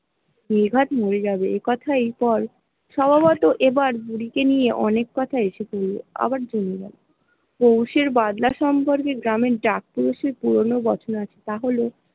নির্ঘাত মরে যাবে এই কথাই এই বার সভাবত এবার বুড়ি কে নিয়ে অনেক কথাই আসে শুনব আবার পৌষ এর বাদলা সম্পর্কে গ্রামে পুরনো তা হল।